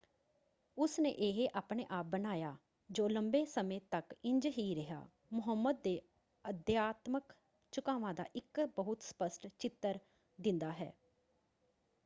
ਉਸਨੇ ਇਹ ਆਪਣੇ ਆਪ ਬਣਾਇਆ ਜੋ ਲੰਬੇ ਸਮੇਂ ਤੱਕ ਇੰਝ ਹੀ ਰਿਹਾ ਮੁਹੰਮਦ ਦੇ ਅਧਿਆਤਮਕ ਝੁਕਾਵਾਂ ਦਾ ਇੱਕ ਬਹੁਤ ਸਪਸ਼ਟ ਚਿੱਤਰ ਦਿੰਦਾ ਹੈ।